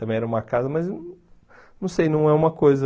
Também era uma casa, mas... Não sei, não é uma coisa...